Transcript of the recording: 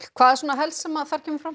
hvað er svona helst sem þarna kemur fram